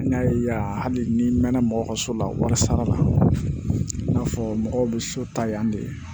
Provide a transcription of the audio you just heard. N'a ye yan hali n'i mɛn na mɔgɔ ka so la wari sara la i n'a fɔ mɔgɔw bɛ so ta yan de